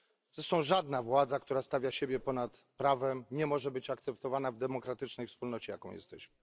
Zresztą żadna władza, która stawia siebie ponad prawem, nie może być akceptowana w demokratycznej wspólnocie, jaką jesteśmy.